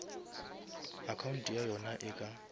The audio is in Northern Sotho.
account ya yona e ka